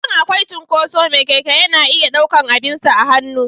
Idan akwai cinkoso me Keke yana iya ɗaukar abinsa a hannu.